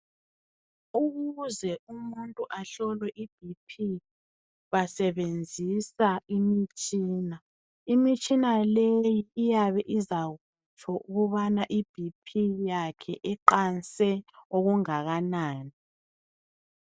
Ukuze umuntu ahlolwe iBP basebenzisa imitshina, imitshina leyi iyabe izakutsho ukubana ibp yakhe iqanse okungakanani.